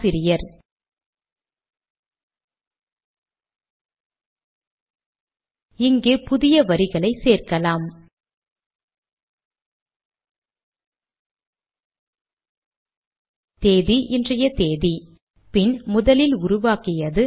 இந்த தேதியில்தான் இந்த டியூட்டோரியல் முதன் முதலில் உருவாக்கப்பட்டது